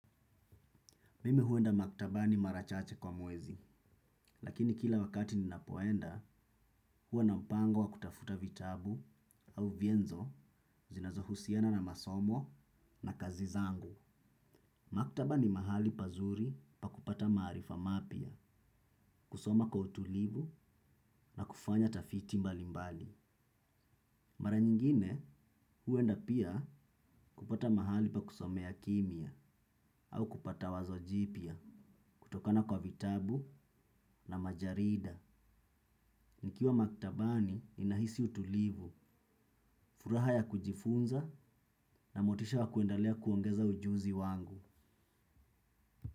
Mimi huenda maktabani mara chache kwa mwezi, lakini kila wakati ninapoenda huwa na mpango wa kutafuta vitabu au vienzo zinazohusiana na masomo na kazi zangu. Maktaba ni mahali pazuri pa kupata maarifa mapya, kusoma kwa utulivu na kufanya tafiti mbali mbali. Mara nyingine huenda pia kupata mahali pa kusomea kimia au kupata wazojipia kutokana kwa vitabu na majarida. Nikiwa maktabani ninahisi utulivu, furaha ya kujifunza na motisha wa kuendelea kuongeza ujuzi wangu.